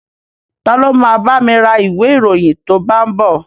Ta ló ma bámi ra ìwé ìròyìn tó bá ń bọ̀?